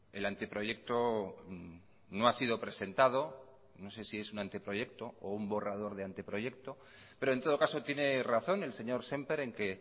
el anteproyecto no ha sido presentado no sé si es un anteproyecto o un borrador de anteproyecto pero en todo caso tiene razón el señor semper en que